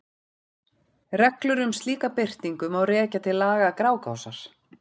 Reglur um slíka birtingu má rekja til laga Grágásar.